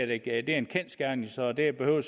det er en kendsgerning så det behøver